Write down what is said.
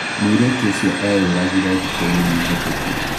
Mũirĩtu ũcio ĩyuragiraĩ thiko nini hĩtũkũ